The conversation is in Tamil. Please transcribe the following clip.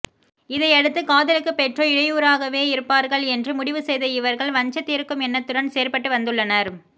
இதையடுத்து காதலுக்கு பெற்றோர் இடையூறாகவேயிருப்பார்கள் என்று முடிவு செய்த இவர்கள் வஞ்சந்தீர்க்கும் எண்ணத்துடன் செயற்பட்டு வந்துள்ளனர்